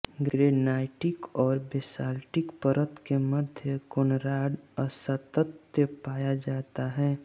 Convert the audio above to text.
granitic और basaltic परत के मध्य कोनराड असातत्य पाया जाता है